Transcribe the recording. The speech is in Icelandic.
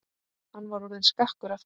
Hann var orðinn skakkur aftur.